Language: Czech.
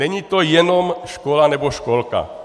Není to jenom škola nebo školka.